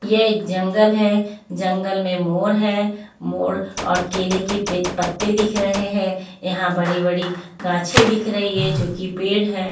ये एक जंगल है जंगल में मोर है मोर और केले के पत्ते दिख रहे हैं यहां बड़ी-बड़ी गांछे दिख रही है जो कि पेड़ है.